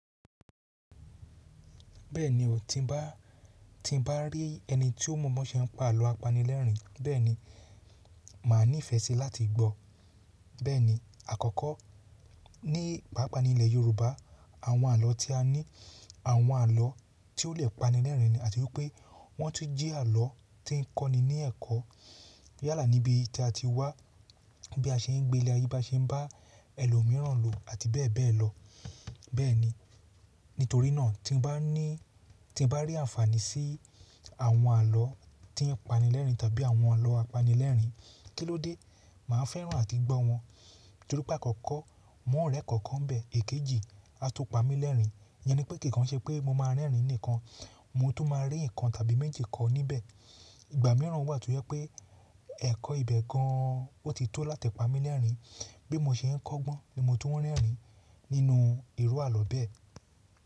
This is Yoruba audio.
Bẹ́ẹ̀ni o tí n bá rí ẹni tí ó mọ̀ọ́mọ̀ ṣe ń pa àlọ́ apanilẹ́rìn-ín, bẹ́ẹ̀ni, màá ní ìfẹ́ sí láti gbọ́. Bẹ́ẹ̀ni àkọ́kọ́, ní pàápàá ní ilẹ̀ yorùbá àwọn àlọ́ tí a ní, àwọn àlọ́ tí ó lè panilẹ́rìn ní àti wípé wọ́n tún jẹ́ àlọ́ tí ń kọ́ ni ní ẹ̀kọ́. Yálà níbi tí a ti wá, bí a ṣe ń gbé ní ilé ayé bá ṣe ń bá ẹlòmíràn lò àti bẹ́ẹ̀ bẹ́ẹ̀ lọ. Bẹ́ẹ̀ni, nítorí náà tí n bá ní, tí n bá rí àǹfààní sí àwọn àlọ́ tí ń panilẹ́rìn-ín tàbí àwọn àlọ́ apanilẹ́rìn-ín, kílódé máa ń fẹ́ràn àti gbọ́ wọn? Tó rí pé àkọ́kọ́, mọ rẹ ẹ̀kọ́ kọ ń bẹ, ekeeji, atu pamilerin. Ìyẹn ni pé kìíkan ṣe pé mo máa rẹ́rìn-ín nìkan, mo tó máa rí nǹkan tàbí méjì kọ́ níbẹ̀. Ìgbà mìíràn wà tó yẹ pé ẹ̀kọ́ ibẹ̀ gan an ó ti tó láti pamí lẹ́rìn-ín. Bí mo ṣe ń kọ́gbọ́n ni mo tu ń rẹ́rìn-ín nínú irú àlọ́ bẹ́ẹ̀.